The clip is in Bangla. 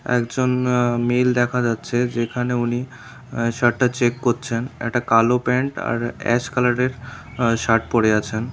একজন আ্য মেল দেখা যাচ্ছে যেখানে উনি শার্টটা চেক করছেন একটা কালো প্যান্ট আর অ্যাশ কালারের আ্য শার্ট পরে আছেন।